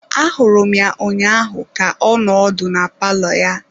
Ahụrụ m ya ụnyaahụ ka ọ nọ ọdụ na palọ ya.